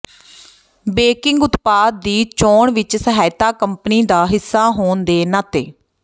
banking ਉਤਪਾਦ ਦੀ ਚੋਣ ਵਿਚ ਸਹਾਇਤਾ ਕੰਪਨੀ ਦਾ ਹਿੱਸਾ ਹੋਣ ਦੇ ਨਾਤੇ